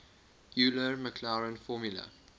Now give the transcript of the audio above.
euler maclaurin formula